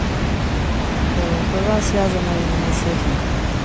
была связано именно с этим